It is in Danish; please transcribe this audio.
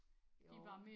Jo